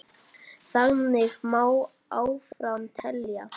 Þannig má áfram telja.